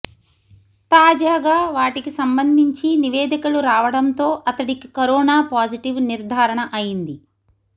తాజాగా వాటికి సంబంధించి నివేదికలు రావడంతో అతడికి కరోనా పాజిటివ్ నిర్ధారణ అయింది